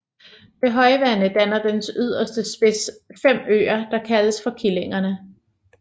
Ved højvande danner dens yderste spids fem øer der kaldes for Killingerne